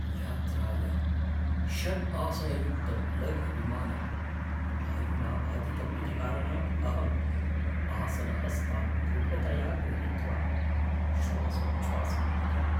यात्रायाम् षड् आसनयुक्तं लघु विमानं वायुना बाधितम् इति कारणात् अहम् आसनहस्तान् दृढतया ग्रहीत्वा श्वासोच्छ्वासम् अकरवम्।